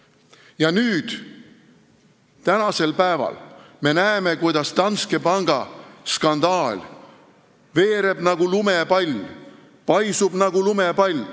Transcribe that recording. Ja nüüd, tänasel päeval me näeme, kuidas Danske panga skandaal veereb nagu lumepall, paisub nagu lumepall.